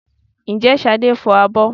Ǹjẹ́ Ṣadé ń fọ abọ́?